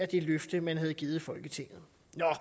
det løfte man havde givet folketinget